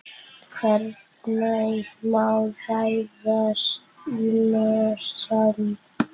Hvenær má ráðast í mosann?